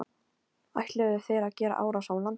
Ætluðu þeir að gera árás á landið?